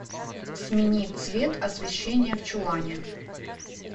смени цвет освещение в чулане